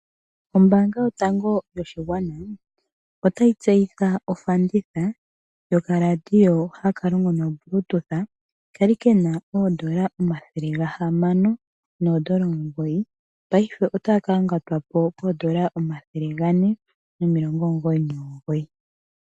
Ombaanga yotango yoshigwana otayi tseyitha ofanditha yoka laadio haka longo nobluetooth, kali kena oodola omathele gahamano noodola omungoyi paife otaka yangatwako koodola omathele gane nomilongo omungoyi nomungoyi